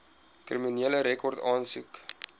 kriminele rekord aansoek